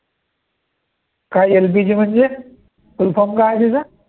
काय LCG म्हणजे full form काय आहे तिचा